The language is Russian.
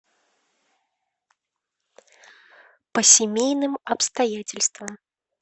по семейным обстоятельствам